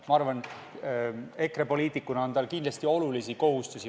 Ma arvan, et EKRE poliitikuna on tal kindlasti olulisi kohustusi.